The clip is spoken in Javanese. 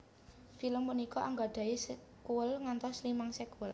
Film punika anggadhahi sekuèl ngantos limang sekuèl